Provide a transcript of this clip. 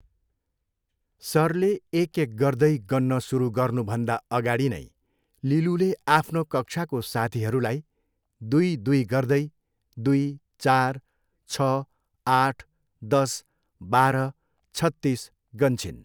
सरले एकएक गर्दै गन्न सुरु गर्नुभन्दा अगाडि नै लिलुले आफ्नो कक्षाको साथिहरूलाई दुई दुई गर्दै दुई, चार, छ, आठ, दस, बाह्र... छत्तिस गन्छिन्।